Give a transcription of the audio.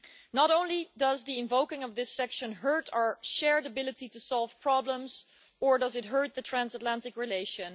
Not only does the invoking of this section hurt our shared ability to solve problems, it also hurts the Transatlantic relation.